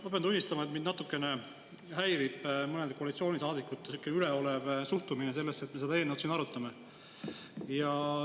Ma pean tunnistama, et mind natukene häirib mõnede koalitsioonisaadikute üleolev suhtumine sellesse, et me seda eelnõu siin arutame.